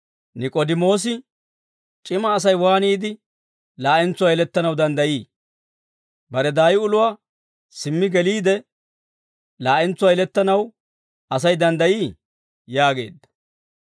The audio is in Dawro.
Nik'oodimoosi, «C'ima Asay waaniide laa'entsuwaa yelettanaw danddayii? Bare daay uluwaa simmi geliide, laa'entsuwaa yelettanaw Asay danddayii?» yaageedda.